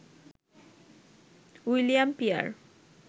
William peer